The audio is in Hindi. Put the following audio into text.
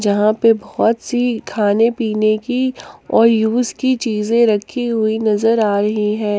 यहाँ पे बहुत सी खाने पीने की और यूज की चीजें रखी हुई नजर आ रही हैं।